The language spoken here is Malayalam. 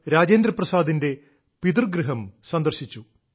രാജേന്ദ്രപ്രസാദിന്റെ പിതൃഗൃഹം സന്ദർശിച്ചു